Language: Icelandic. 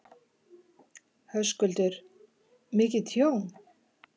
Höskuldur: Mikið tjón?